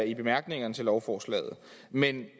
i bemærkningerne til lovforslaget men det